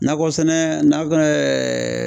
Nakɔ sɛnɛ nakɔ ɛɛ